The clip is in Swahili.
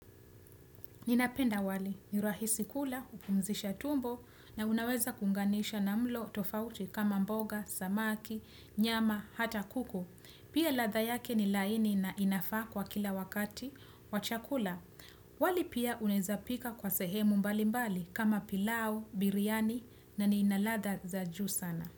Ninapenda wali, ni rahisi kula, hupumzisha tumbo na unaweza kuunganisha na mlo tofauti kama mboga, samaki, nyama, hata kuku. Pia ladha yake ni laini na inafaa kwa kila wakati, wa chakula. Wali pia unaeza pika kwa sehemu mbali mbali kama pilau, biriani na ni inaladha za juu sana.